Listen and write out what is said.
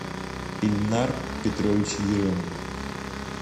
ильнар петрович еремин